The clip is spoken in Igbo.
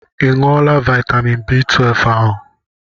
I ṅụọla vitamin B12 ahụ?